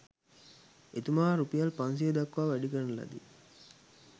එතුමා රුපියල් 500 දක්වා වැඩි කරන ලදී.